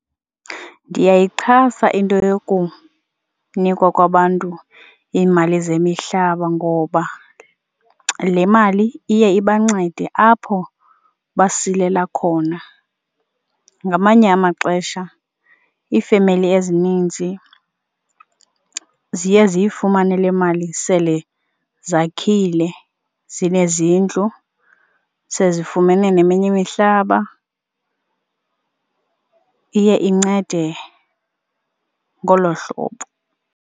Ndiyayixhasa into yokunikwa kwabantu iimali zemihlaba ngoba le mali iye ibancede apho basilela khona. Ngamanye amaxesha iifemeli ezininzi ziye ziyifumane le mali sele zakhile zinezindlu sezifumene neminye imihlaba. Iye incede ngolo hlobo.